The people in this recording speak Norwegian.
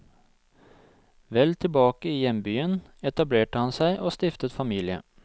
Vel tilbake i hjembyen etablerte han seg og stiftet familie.